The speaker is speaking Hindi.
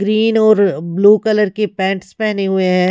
ग्रीन और ब्लू कलर के पैंट्स पहने हुए हैं।